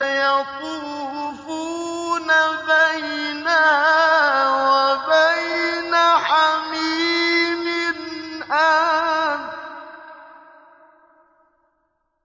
يَطُوفُونَ بَيْنَهَا وَبَيْنَ حَمِيمٍ آنٍ